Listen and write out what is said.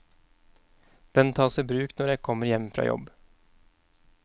Den tas i bruk når jeg kommer hjem fra jobb.